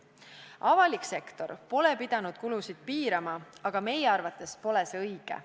Avalik sektor pole pidanud kulusid piirama ja meie arvates pole see õige.